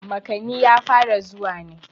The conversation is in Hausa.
makani ya fara zuwa ne